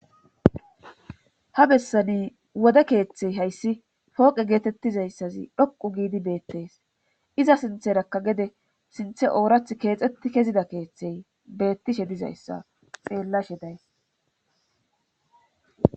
ha bessani wode keeththey hayssi fooqe geetettizayssazi dhoqu giidi beettees iza sintherakka gede sinthe oorath keexetti kezida keeththey beettishe dizayssa xeellashe days